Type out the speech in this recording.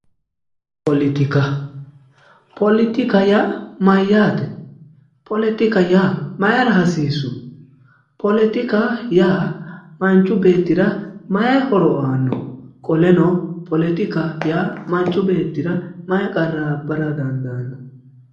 Politikka, politikka yaa maayate, politikka yaa mayra hasiisu, politikka yaa manchi beettira maayi horo aano, qoleno politika yaa manchi beettira maayi qarra abbara dandaano?